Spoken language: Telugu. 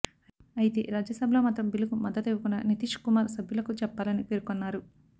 అయితే రాజ్యసభలో మాత్రం బిల్లుకు మద్దతు ఇవ్వకుండా నితీష్ కుమార్ సభ్యులకు చెప్పాలని పేర్కొన్నారు